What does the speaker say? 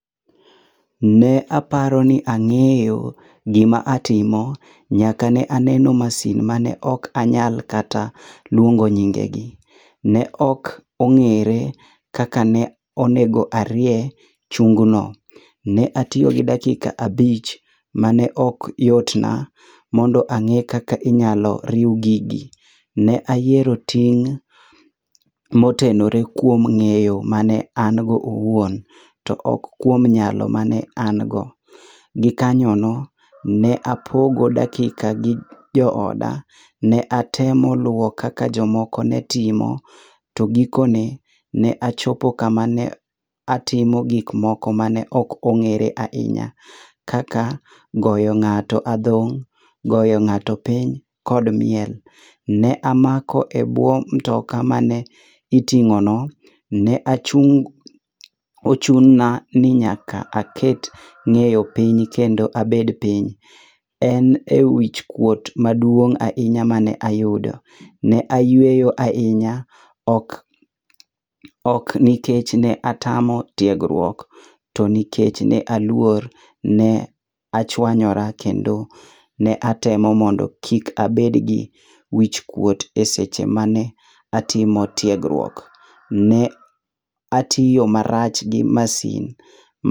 Ne aparoni ang'eyo gima atimo. Nyaka ne ane manin mane ok anyal kata luongo nyingegi. Ne ok ong'ere kaka ne onego arie chung no. Ne atiyo gi dakika abich mane ok yotna mondo ang'e kaka inyalo riw gigi. Ne ayiero ting' motenore kuom ng'eyo mane an go owuon to ok kuom nyalo mane an go. Gikanyono ne apogo dakika gi jooda. Ne atema luwo kaka jomoko ne timo, to gikone, ne achopo kamane atimo gikmoko mane ok on g'ere ahinya, kaka goyo ng'ato adhong', goyo ng'ato piny kod miel. Ne amako ebwo mtoka mane iting'ono, ne achung', ochuna ni nyaka aket ng'eyo piny kendo abed piny. En ewichkuot maduong' ahinya mane ayudo. Ne ayueyo ahinya, ok ok nikech ne atamo tiegruok to nikech ne aluor. Ne achuanyora kendo ne atemo mondo kik abed gi wichkuot eseche mane atimo tiegruok. Ne atiyo marach gi masin.